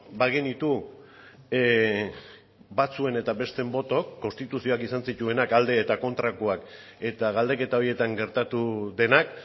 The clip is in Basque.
bagenitu batzuen eta besteen botoak konstituzioak izan zituenak alde eta kontrakoak eta galdeketa horietan gertatu denak